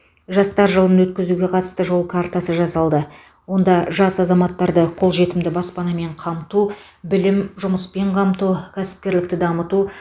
жастар жылын өткізуге қатысты жол картасы жасалды онда жас азаматтарды қолжетімді баспанамен қамту білім жұмыспен қамту кәсіпкерлікті дамыту